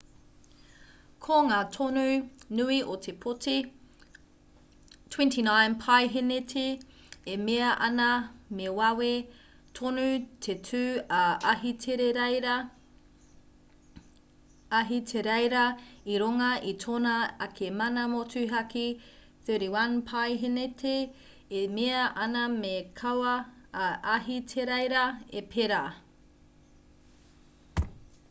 ko ngā tonu nui o te pōti 29 paeheneti e mea ana me wawe tonu te tū a ahitereiria i runga i tōna ake mana motuhake 31 paeheneti e mea ana me kaua a ahitereiria e pērā